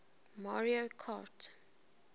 mario kart